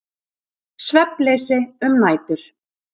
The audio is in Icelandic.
Svefnleysi um nætur.